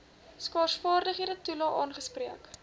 skaarsvaardighede toelae aangespreek